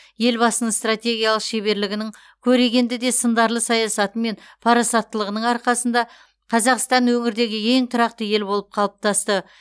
елбасының стратегиялық шеберлігінің көрегенді де сыңдарлы саясаты мен парасаттылығының арқасында қазақстан өңірдегі ең тұрақты ел болып қалыптасты